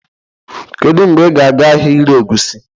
Kedu mgbe ị ga-aga ahịa ire egusi?